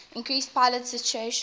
increased pilot situational